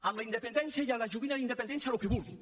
amb la independència i amb la joguina de la independència el que vulguin